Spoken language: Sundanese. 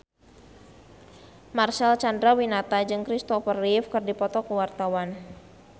Marcel Chandrawinata jeung Christopher Reeve keur dipoto ku wartawan